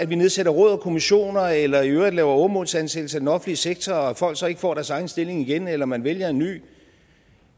vi nedsætter råd og kommissioner eller i øvrigt laver åremålsansættelser i den offentlige sektor og folk så ikke får deres egen stilling igen eller man vælger en ny